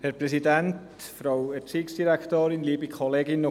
Kommissionssprecher der FiKo-Minderheit.